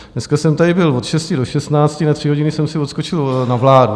Dneska jsem tady byl od 6 do 16, na tři hodiny jsem si odskočil na vládu.